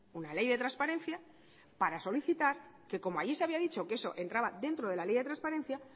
una ley de transparencia para solicitar que como allí se había dicho que eso entraba dentro de la ley de transparencia